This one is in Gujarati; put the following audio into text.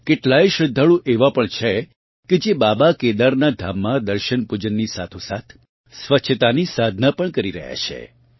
કેટલાય શ્રદ્ધાળું એવાં પણ છે કે જે બાબા કેદારનાં ધામમાં દર્શનપૂજનની સાથોસાથ સ્વચ્છતાની સાધના પણ કરી રહ્યાં છે